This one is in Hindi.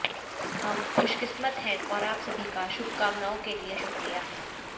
हम खुशकिस्मत हैं और आप सभी का शुभकामनाओं के लिए शुक्रिया